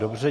Dobře.